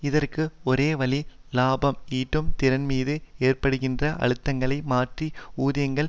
இதற்கு ஒரே வழி இலாபம் ஈட்டும் திறன்மீது ஏற்படுகின்ற அழுத்தங்களை மாற்றி ஊதியங்களை